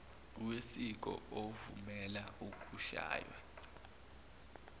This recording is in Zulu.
wesiko ovumela ukushaywa